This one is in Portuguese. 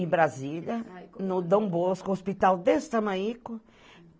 Em Brasília, no Dombosco, um hospital desse tamanhico.